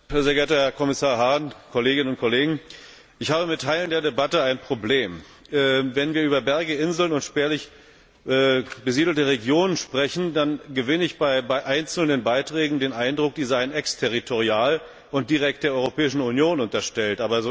Sehr geehrter Herr Kommissar Hahn, Kolleginnen und Kollegen! Ich habe mit Teilen der Debatte ein Problem. Wenn wir über Berge, Inseln und spärlich besiedelte Regionen sprechen, dann gewinne ich bei einzelnen Beiträgen den Eindruck, die seien exterritorial und direkt der Europäischen Union unterstellt.